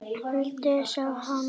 Aldrei sá hann